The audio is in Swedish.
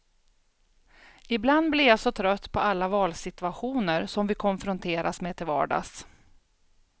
Ibland blir jag så trött på alla valsituationer som vi konfronteras med till vardags.